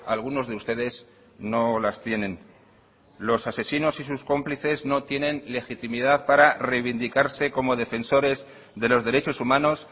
algunos de ustedes no las tienen los asesinos y sus cómplices no tienen legitimidad para reivindicarse como defensores de los derechos humanos